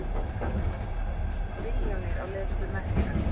Milljónir á leið til Mekka